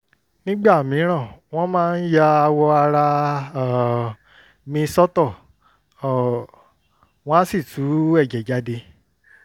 nígbà mìíràn wọ́n máa ń ya awọ ara um mi sọ́tọ̀ um wọ́n á sì tú ẹ̀jẹ̀ jáde